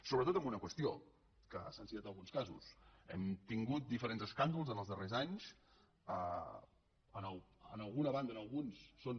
sobretot en una qüestió que se n’han citat alguns casos hem tingut diferents escàndols en els darrers anys en alguna banda en alguns són